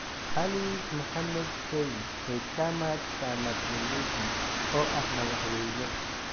Ali Mohammed Shein ee Chama Cha Mapinduzi (CCM) oo ah madaxweyne.